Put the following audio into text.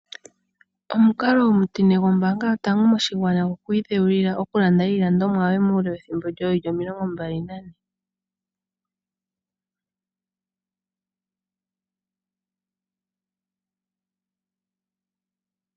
Omukalo omutine gombaanga yotango moshigwana, gokwiidheulila okulanda iilandomwa yoye muule wethimbo woowili omilongo mbali na ne.